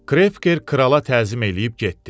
Krevker krala təzim eləyib getdi.